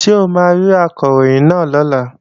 Ṣé o máa rí Akọ̀ròyìn náà lọ́la?